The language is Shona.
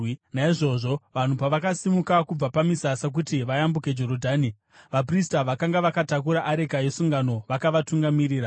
Naizvozvo vanhu pavakasimuka kubva pamisasa kuti vayambuke Jorodhani, vaprista vakanga vakatakura areka yesungano vakavatungamirira.